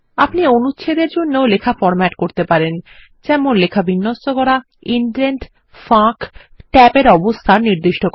আপনি অনুচ্ছেদের জন্য লেখা ফরম্যাট করতে পারেন যেমন লেখা বিন্যস্ত করা ইনডেন্ট ফাঁক ট্যাবের অবস্থান নির্দিষ্ট করা